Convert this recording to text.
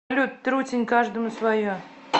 салют трутень каждому свое